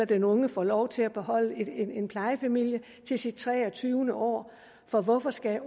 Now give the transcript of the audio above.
den unge får lov til at beholde en plejefamilie til sit treogtyvende år for hvorfor skal